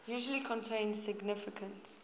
usually contain significant